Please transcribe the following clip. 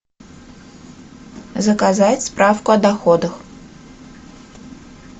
заказать справку о доходах